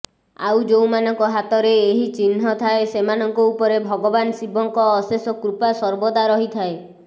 ଆଉ ଯେଉଁମାନଙ୍କ ହାତରେ ଏହି ଚିହ୍ନ ଥାଏ ସେମାନଙ୍କ ଉପରେ ଭଗବାନ୍ ଶିବଙ୍କ ଅଶେଷ କୃପା ସର୍ବଦା ରହିଥାଏ